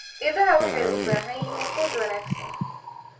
Idaha waxay u baahan yihiin quud wanaagsan.